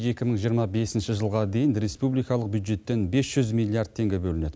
екі мың жиырма бесінші жылға дейін республикалық бюджеттен бес жүз миллиард теңге бөлінеді